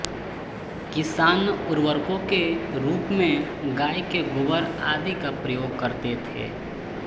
किसान उर्वरकों के रूप में गाय के गोबर आदि का प्रयोग करते थे